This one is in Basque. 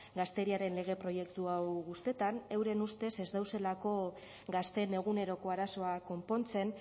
gazteriaren lege proiektua hau gustetan euren ustez ez dauzelako gazteen eguneroko arazoak konpontzen